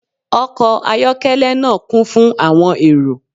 Ọkọ ayọkẹlẹ naa kun fun awọn ero